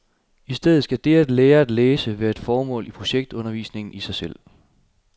I stedet skal det at lære at læse være et formål for projektundervisningen i sig selv.